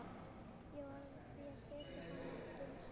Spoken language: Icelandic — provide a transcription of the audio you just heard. Ég varð því að setja hana í geymslu.